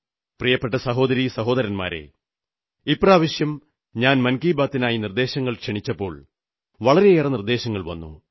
പ്രിയപ്പെട്ട സഹോദരി സഹോദരന്മാരേ ഇപ്രാവശ്യം ഞാൻ മൻ കീ ബാതിനായി നിർദ്ദേശങ്ങൾ ക്ഷണിച്ചപ്പോൾ വളരെയേറെ നിർദ്ദേശങ്ങൾ വന്നു